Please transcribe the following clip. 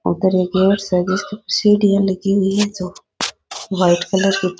उधर एक गेट है जिसपे सीढिया लगी हुई है जो वाइट कलर की --